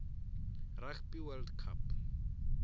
rugby world cup